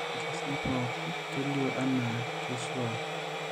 Ore irkesii pooki kelio anaa keisuaa.